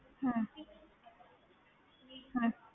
ਹਮ ਹਮ